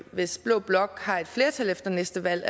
hvis blå blok har et flertal efter næste valg